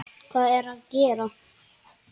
Hvað er ég að gera?